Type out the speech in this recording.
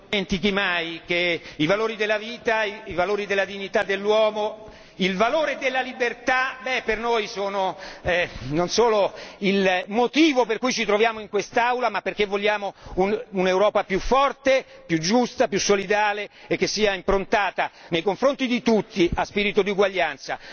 Non dimentichi mai che i valori della vita, i valori della dignità dell'uomo, il valore della libertà per noi sono non solo il motivo per cui ci troviamo in quest'Aula ma perché vogliamo un'Europa più forte, più giusta, più solidale e che sia improntata a uno spirito di uguaglianza.